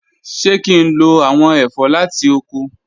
Ṣe ki n lo awọn ẹfọ lati oko?